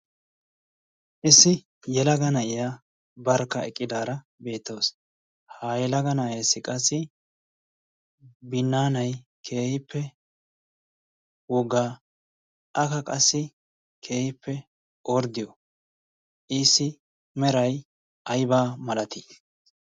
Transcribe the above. Issi yelaga na'iya barkka eqqidaara beetawus. Ha yelaga naa'essi binaanay keehippe woggaa, akka qassi keehippe orddiyo, issi meray ayba malatii?